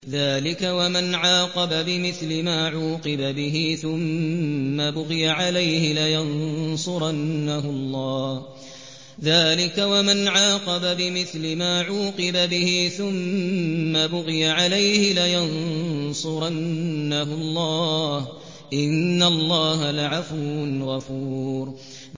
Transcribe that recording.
۞ ذَٰلِكَ وَمَنْ عَاقَبَ بِمِثْلِ مَا عُوقِبَ بِهِ ثُمَّ بُغِيَ عَلَيْهِ لَيَنصُرَنَّهُ اللَّهُ ۗ إِنَّ اللَّهَ لَعَفُوٌّ غَفُورٌ